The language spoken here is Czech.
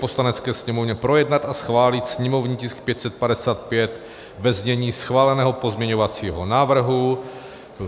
Poslanecké sněmovně projednat a schválit sněmovní tisk 555 ve znění schváleného pozměňovacího návrhu.